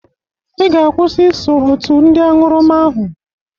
Ị ga-akwusị iso otu ndị añụrụma ahụ!